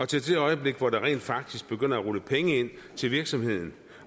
til det øjeblik hvor der rent faktisk begynder at rulle penge ind til virksomheden